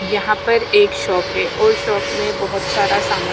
यहां पर एक शॉप है और शॉप में बहुत सारा सामान ।